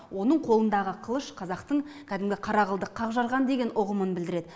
оның қолындағы қылыш қазақтың кәдімгі қара қылды қақ жарған деген ұғымын білдіреді